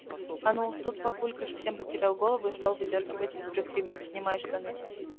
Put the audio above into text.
а ну тут папулька совсем потерял голову и стал выдёргивать из брюк ремень снимай штаны